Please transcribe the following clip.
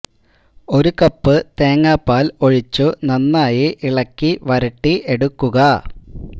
ഒരു കപ്പ് തേങ്ങ പാൽ ഒഴിച്ചു നന്നായി ഇളക്കി വരട്ടി എടുക്കുക